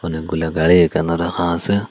অনেকগুলা গাড়ি এখানে রাখা আসে।